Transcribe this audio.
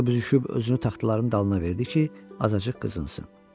Qoca büzüşüb özünü taxtaların dalına verdi ki, azacıq qızınsın.